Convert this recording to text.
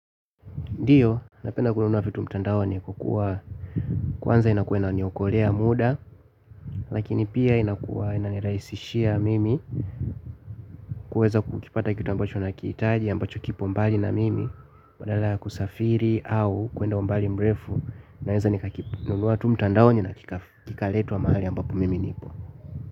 Ndiyo, napenda kununua vitu mtandaone kwa kuwa, kwanza inakuwa inaniokolea muda, lakini pia inakuwa inanirahisishia mimi kuweza kukipata kitu ambacho nakihitaji ambacho kipo mbali na mimi, badala ya kusafiri au kuenda umbali mrefu, nawenza nikakinunua tu mtandaoni na kikaletwa mahali ambapo mimi niko.